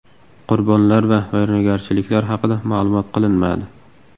Qurbonlar va vayronagarchiliklar haqida ma’lum qilinmadi.